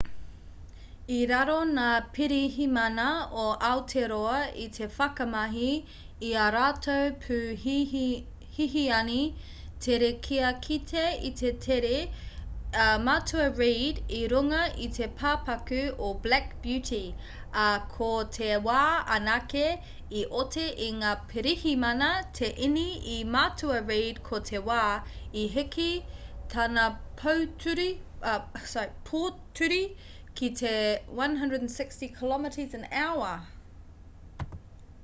i raru ngā pirihimana o aotearoa i te whakamahi i ā rātou pū hihiani tere kia kite i te tere a matua reid i runga i te pāpaku o black beauty ā ko te wā anake i oti i ngā pirihimana te ine i matua reid ko te wā i heke tana pōturi ki te 160km/h